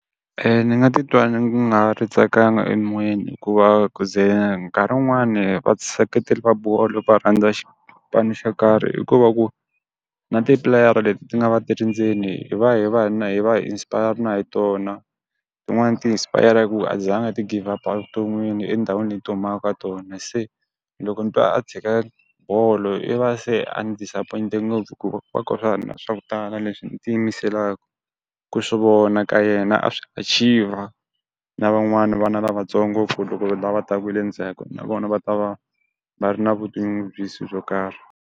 Ni nga titwa ni nga ha ri tsakanga emoyeni hikuva ku ze nkarhi wun'wani va seketeri va bolo va rhandza xipano xo karhi i ku va ku, na tipleyara leti ti nga va ti ri ndzeni hi va hi va na hi va hi inspire-yara na hi tona. Tin'wani ti inspire-yara hi ku a ti zanga ti give up-a evuton'wini etindhawini leyi ti humaka ka tona. Se loko ni twa a tshika bolo i va se a ni disappoint-e ngopfu hikuva ku va ka ha ri na swa ku tala leswi ni tiyimiselanga ku swi vona ka yena a swi achieve-a. Na van'wani vana lavatsongo ku loko lava taka hi le ndzhaku na vona va ta va va ri na vutinyungubyisi byo karhi.